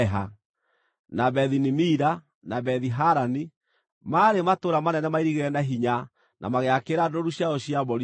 na Bethi-Nimira, na Bethi-Harani, maarĩ matũũra manene mairigĩre na hinya na magĩakĩra ndũũru ciao cia mbũri ciugũ.